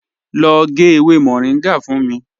Lọ gẹ̀ ewé Moringa fún mí.